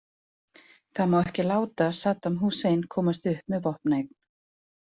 Það má ekki láta Saddam Hussein komast upp með vopnaeign.